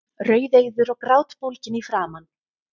Rauðeygður og grátbólginn í framan.